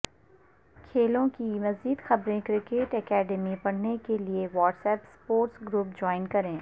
کھیلوں کی مزید خبریں کرکٹ اکیڈمی پڑھنے کیلئے WhatsApp sports group join کریں